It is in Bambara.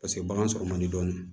Paseke bagan sɔrɔ man di dɔɔnin